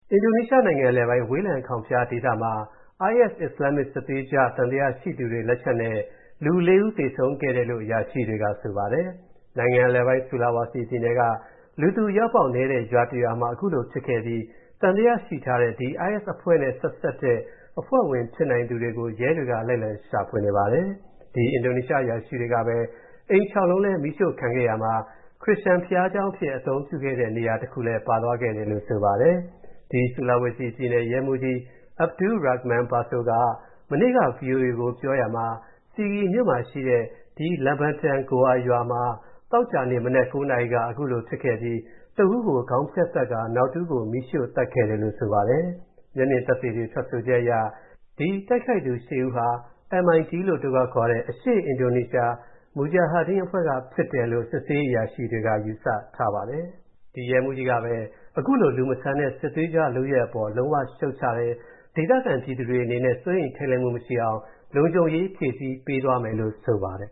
အင်ဒိုနီးရှားနိုင်ငံ အလယ်ပိုင်း ဝေးလံခေါင်ဖျားဒေသမှာ IS အစ္စလာမ္မစ် စစ်သွေးကြွေ သံသယရှိသူတွေ လက်ချက်နဲ့ လူ ၄ ဦး သေဆုံးခဲ့တယ်လို့ အရာရှိတွေက ဆိုပါတယ်။ နိုင်ငံအလယ်ပိုင်း Sulawesi ပြည်နယ်က လူသူအရောက်အပေါက်နည်းတဲ့ ရွာတရွာမှာ ခုလိုဖြစ်ခဲ့ပြီး သံသယရှိထားတဲ့ ဒီ IS အဖွဲ့နဲ့ ဆက်စပ်တဲ့ အဖွဲ့ဝင်ဖြစ်နိုင်သူတွေကို ရဲတွေက လိုက်လံရှာဖွေနေပါတယ်။ ဒီ အင်ဒိုနီးရှားအရာရှိတွေကပဲ အိမ် ၆ လုံးလည်း မီးရှို့ခံခဲ့ရာမှာ ခရစ်ယာန်ဘုရားကျောင်းအဖြစ် အသုံးပြုခဲ့တဲ့ နေရာတခုလည်း ပါသွားခဲ့တယ်လို့ ဆိုပါတယ်။ Sulawesi ပြည်နယ် ရဲမှူးကြီး Abdul Rakhman Baso က မနေ့က ဗွီအိုအေကို ပြောရာမှာ Sigi မြို့ရှိ ဒီ Lembatan goa ရွာမှာ သောကြာနေ့ မနက် ၉ နာရီက ခုလိုဖြစ်ခဲ့ပြီး တဦးကို ခေါင်းဖြတ်သတ်ကာ နောက်တဦးကိုတော့ မီးရှို့သတ်ခဲ့တာလို့ ဆိုပါတယ်။ မျက်မြင်သက်သေတွေ ထွက်ချက်အရ ဒီတိုက်ခိုက်မှုလုပ်ခဲ့သူ ၈ ဦးဟာ MIT လို့ အတိုကောက်ခေါ်တဲ့ အရှေ့အင်ဒိုနီးရှား Mujahideen အဖွဲ့ကဖြစ်တယ်လို့ စစ်ဆေးရေးအရာရှိတွေက ယူဆထားပါတယ်။ ဒီရဲမှူးကြီးကပဲ အခုလို လူမဆန်တဲ့ စစ်သွေးကြွလုပ်ရပ်အပေါ် လုံးဝရှုတ်ချတယ်၊ ဒေသခံပြည်သူတွေအနေနဲ့ စိုးရိမ်ထိတ်လန့်မှု မရှိအောင် လုံခြုံရေး ဖြည့်ဆည်းပေးသွားမယ်လို့ ဆိုပါတယ်